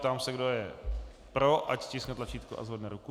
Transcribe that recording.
Ptám se, kdo je pro, ať stiskne tlačítko a zvedne ruku.